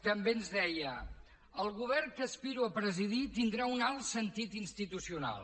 també ens deia el govern que aspiro a presidir tindrà un alt sentit institucional